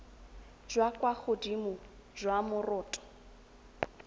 jwa kwa godimo jwa moroto